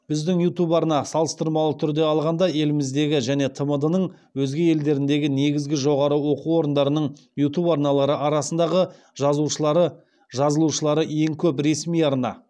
біздің ютуб арна салыстырмалы түрде алғанда еліміздегі және тмд ның өзге елдеріндегі негізгі жоғары оқу орындарының ютуб арналары арасындағы жазылушылары ең көп ресми арна